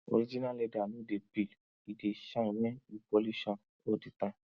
original leather no dey peel e dey shine wen you polish am all di time